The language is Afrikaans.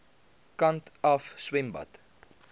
kant af swembad